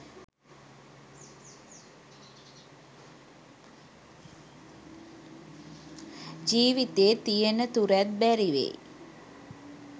ජීවිතේ තියනතුරැත් බැරිවෙයි.